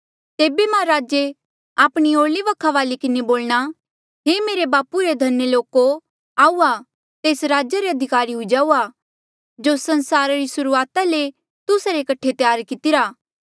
तेबे मां राजे आपणी ओरली वखा वाली किन्हें बोलणा हे मेरे बापू रे धन्य लोको आऊआ तेस राज्या रे अधिकारी हुई जाऊआ जो संसारा री सुर्हूआता ले तुस्सा रे कठे त्यार कितिरा